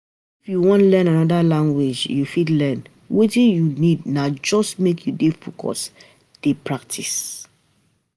u wan learn anoda language, u fit learn, Wetin u need na just make u dey focused dey practise